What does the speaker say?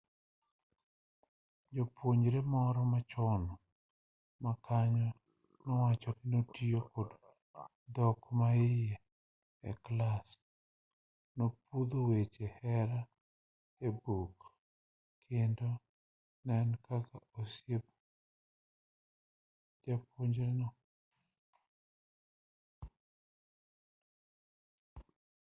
japuonjre moro machon makanyo nowacho ni 'notiyo kod dhok maiye e clas nopunjo weche hera e buk kendo ne en kaka osiep jopunjrego'